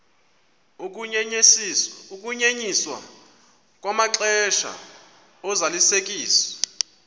ukunyenyiswa kwamaxesha ozalisekiso